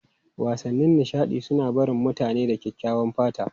Wasannin nishaɗi suna barin mutane da kyakkyawan fata.